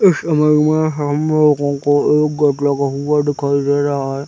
इस इमेज में हम लोगों को एक गेट लगा हुआ दिखाई दे रहा हैं ।